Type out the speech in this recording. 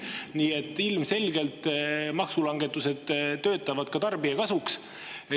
Nii et ilmselgelt maksulangetused töötavad ka tarbija kasuks.